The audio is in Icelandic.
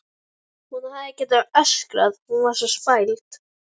Hún hefði getað öskrað, hún var svo spæld.